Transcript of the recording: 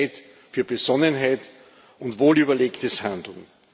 Es ist Zeit für Besonnenheit und wohlüberlegtes Handeln.